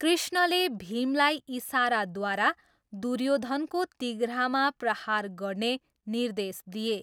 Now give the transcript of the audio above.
कृष्णले भीमलाई इसाराद्वारा दुर्योधनको तिघ्रामा प्रहार गर्ने निर्देश दिए।